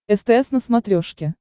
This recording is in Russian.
стс на смотрешке